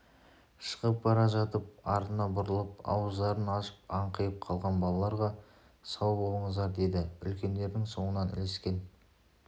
шығып бара жатып артына бұрылып ауыздарын ашып аңқиып қалған балаларға сау болыңыздар деді үлкендердің соңынан ілескен